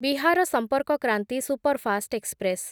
Bihar Sampark Kranti superfast express